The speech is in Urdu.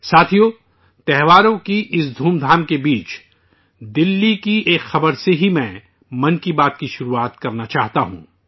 ساتھیو، تہواروں کی اس امنگ کے درمیان، دہلی کی ایک خبر سے ہی میں 'من کی بات' کی شروعات کرنا چاہتا ہوں